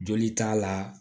Joli t'a la